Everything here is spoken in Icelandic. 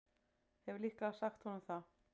Hef líka sagt honum það.